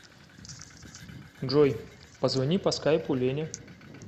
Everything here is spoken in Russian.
джой позвони по скайпу лене